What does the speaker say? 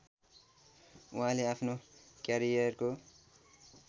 उहाँले आफ्नो क्यारियरको